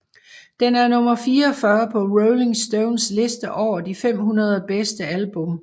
Den er nummer 44 på Rolling Stones liste over de 500 bedste album